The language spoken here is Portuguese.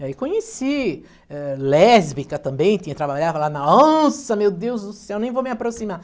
E aí conheci, eh, lésbica também, tinha trabalhado lá na... nossa, meu deus do céu, nem vou me aproximar.